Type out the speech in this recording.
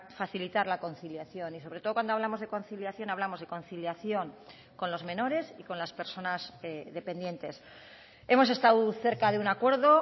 facilitar la conciliación y sobre todo cuando hablamos de conciliación hablamos de conciliación con los menores y con las personas dependientes hemos estado cerca de un acuerdo